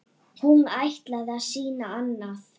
Hún ætlaði að sýna annað.